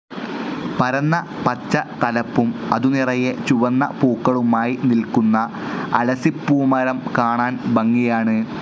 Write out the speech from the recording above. പരന്ന പച്ച തലപ്പും അതുനിറയെ ചുവന്ന പൂക്കളുമായി നിൽക്കുന്ന അലസിപ്പൂമരം കാണാൻ ഭംഗിയാണ്.